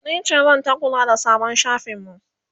nice zanta kula da sabon shafin mu